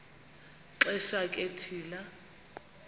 xesha ke thina